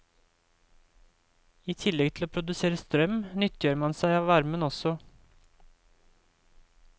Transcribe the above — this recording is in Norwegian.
I tillegg til å produsere strøm, nyttiggjør man seg av varmen også.